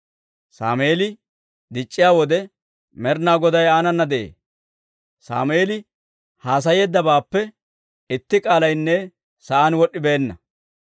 Sammeeli dic'c'iyaa wode Med'inaa Goday aanana de'ee; Sammeeli haasayeeddabaappe itti k'aalaynne sa'aan wod'd'ibeenna.